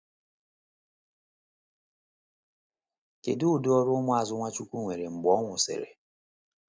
Kedu udi ọrụ ụmụazụ Nwachukwu nwere mgbe ọ nwụsịrị?